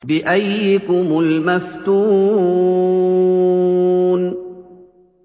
بِأَييِّكُمُ الْمَفْتُونُ